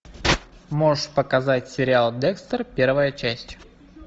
можешь показать сериал декстер первая часть